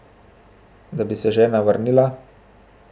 Da bi se žena vrnila?